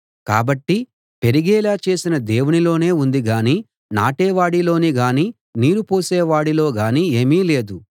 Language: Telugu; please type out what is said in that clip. కాబట్టి పెరిగేలా చేసిన దేవునిలోనే ఉంది గాని నాటేవాడిలో గాని నీరు పోసేవాడిలో గాని ఏమీ లేదు